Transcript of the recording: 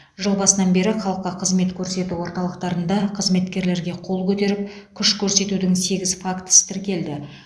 жыл басынан бері халыққа қызмет көрсету орталықтарында қызметкерлерге қол көтеріп күш көрсетудің сегіз фактісі тіркелді